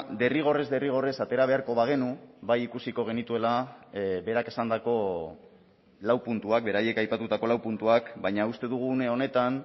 derrigorrez derrigorrez atera beharko bagenu bai ikusiko genituela berak esandako lau puntuak beraiek aipatutako lau puntuak baina uste dugu une honetan